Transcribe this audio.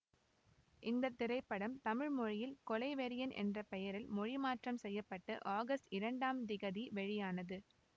இந்த திரைப்படம் தமிழ் மொழியில் கொலைவெறியன் என்ற பெயரில் மொழிமாற்றம் செய்ய பட்டு ஆகஸ்ட் இரண்டாம் திகதி வெளியானது